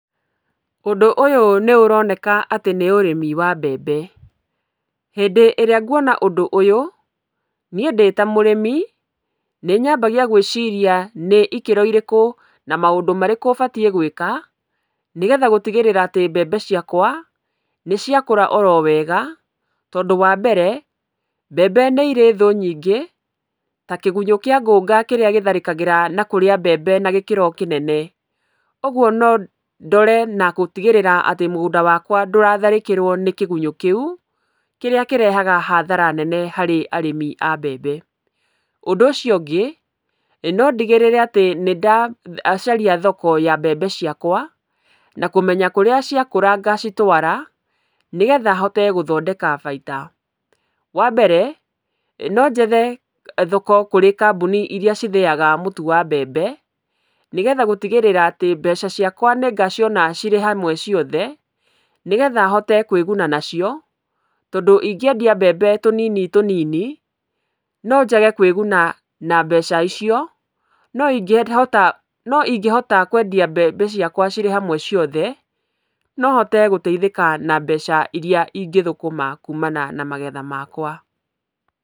Ũndũ ũyũ nĩũroneka atĩ nĩ ũrĩmi wa mbembe. Hĩndĩ ĩrĩa nguona ũndũ ũyũ, niĩ ndĩta mũrĩmi nĩnyambagia gwĩciria nĩ ikĩro irĩkũ na maũndũ marĩkũ batiĩ gwĩka nĩgetha gũtigĩrĩra atĩ mbembe ciakwa nĩciakũra oro wega, tondũ wambere mbembe nĩirĩ thũ nyingĩ ta kĩgunyũ kĩa ngũũnga kĩrĩa gĩtharĩkagĩra na kũrĩa mbembe na gĩkĩro kĩnene. Ũguo nondore na gũtigĩrĩra atĩ mũgũnda wakwa ndũratharĩkĩrwo nĩ kĩgunyũ kĩu kĩrĩa kĩrehaga hathara nene harĩ arĩmi a mbembe. Ũndũ ũcio ũngĩ, nondigĩrĩre atĩ nĩndacaria thoko ya mbembe ciakwa na kũmenya kũrĩa ciakũra ngacitwara, nĩgetha hote gũthondeka baita. Wambere nonjethe thoko kũrĩ kambuni iria cithĩaga mũtu wa mbembe nĩgetha gũtigĩrĩra atĩ mbeca ciakwa nĩngaciona cirĩ hamwe ciothe, nĩgetha hote kwĩguna nacio tondũ ingĩendia mbembe tũnini tũnini nonjage kwĩguna na mbeca icio, no ingĩhota, no ingĩhota kwendia mbembe ciakwa cirĩ hamwe ciothe no hote gũteithĩka na mbeca iria ingĩthũkũma kuumana na magetha makwa.